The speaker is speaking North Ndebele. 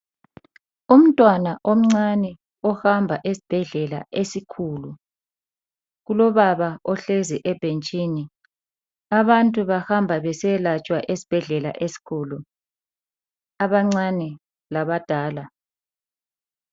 Umntwana omncane ohamba esibhedlela esikhulu kulobaba ohlezi ebhentshini. Abantu bahamba vesiyelatshwa esibhedlela esikhulu abancane labadala.